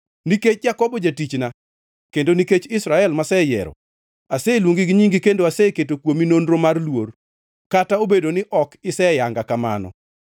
Nikech Jakobo jatichna, kendo nikech Israel mayiero, aseluongi gi nyingi kendo aseketo kuomi nonro mar luor, kata obedo ni ok iseyanga kamano.